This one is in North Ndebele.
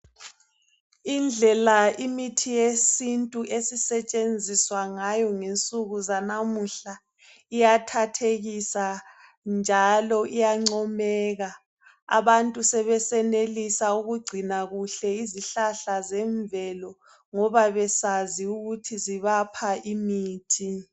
Indlela imithi yesintu esisetshenziswa ngayo ngensuku zanamuhla iyathathekisa njalo iyancomeka, abantu sebesenelisa ukugcina kuhle izihlahla zemvelo ngoba besazi ukuthi zibapha imithi.